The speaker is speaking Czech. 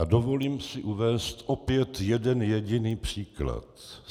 A dovolím si uvést opět jeden jediný příklad.